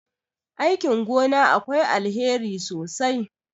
aikin gona akwai alheri sosai